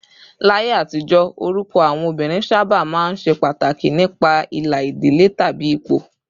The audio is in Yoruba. Láyé àtijọ́, orúkọ àwọn obìnrin sábà máa ń ṣe pàtàkì nípa ìlà ìdílé tàbí ipò